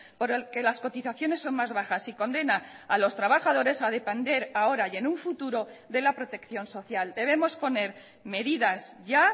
por el que las cotizaciones son más bajas y condena a los trabajadores a depender ahora y en un futuro de la protección social debemos poner medidas ya